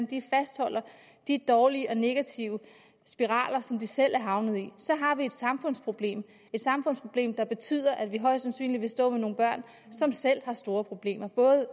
de fastholder de dårlige og negative spiraler som de selv er havnet i så har vi et samfundsproblem et samfundsproblem der betyder at vi højst sandsynligt vil stå med nogle børn som selv har store problemer